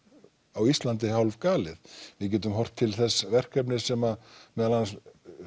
á Íslandi hálfgalið við getum horft til þess verkefnis sem meðal annars